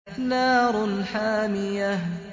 نَارٌ حَامِيَةٌ